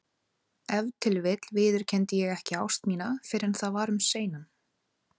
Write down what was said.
Ef til vill viðurkenndi ég ekki ást mína fyrr en það var um seinan.